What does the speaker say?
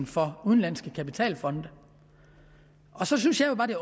for udenlandske kapitalfonde så synes jeg jo bare det